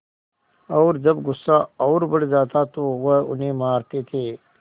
और जब गुस्सा और बढ़ जाता तो वह उन्हें मारते थे